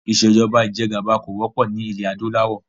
Ìsèjọba ìjẹgàba kò wọ́pọ̀ nilẹ adúláwọ̀